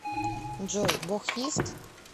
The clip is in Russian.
джой бог есть